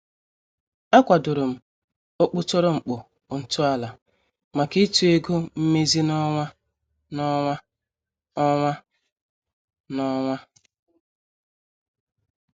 A kwadorom okputoro mkpu ntọala maka ịtụ ego mmezi n' ọnwa n' ọnwa. ọnwa n' ọnwa.